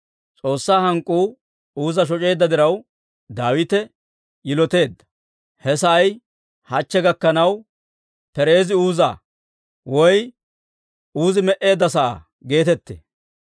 S'oossaa hank'k'uu Uuza shoc'eedda diraw, Daawite yiloteedda. He sa'ay hachche gakkanaw, Pereezi-Uuzaa (Uuzi me"eedda sa'aa) geetettee.